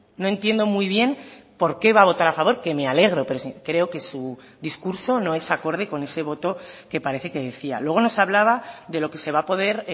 no entiendo muy bien por qué va a votar a favor que me alegro pero creo que su discurso no es acorde con ese voto que parece que decía luego nos hablaba de lo que se va a poder